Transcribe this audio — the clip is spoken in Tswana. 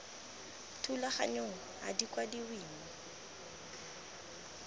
thulaganyong ga di kwadiwe mo